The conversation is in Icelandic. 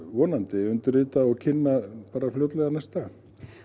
vonandi undirrita og kynna bara fljótlega næstu daga